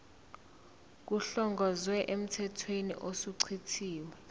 kuhlongozwe emthethweni osuchithiwe